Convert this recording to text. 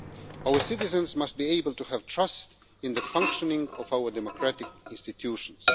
Our citizens must be able to have trust in the functioning of our democratic institutions.